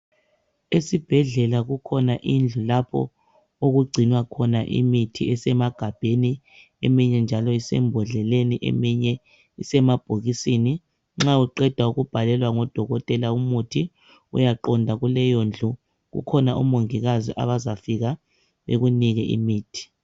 Esibhedlela kukhona indlu lapho okugcinwa khona imithi esemagabheni eminye njalo isembodleleni eminye isemabhokisini, nxa uqeda ukubhalelwa ngudokotela, umuthi uyaqonda kuleyo ndlu kukhona omongikazi abazafika bekunike imithi.